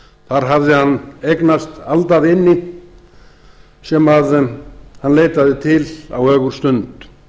þar hafði hann eignast aldavini sem hann leitaði til á ögurstund